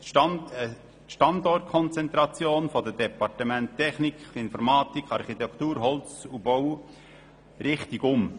Es setzt die Standortkonzentration der Departemente Tech nik, Informatik, Architektur, Holz und Bau richtig um.